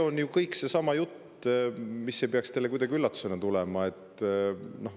Kõik see jutt ei peaks teile kuidagi üllatusena tulema.